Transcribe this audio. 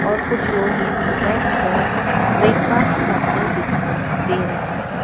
और कुछ लोग यहां बैठ कर ब्रेकफास्ट करते दिखाई दे रहे हैं।